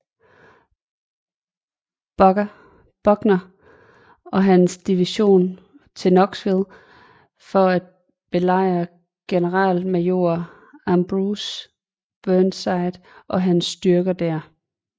Buckner og hans division til Knoxville for at belejre generalmajor Ambrose Burnside og hans styrker der